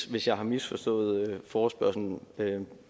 hvis jeg har misforstået forespørgslen men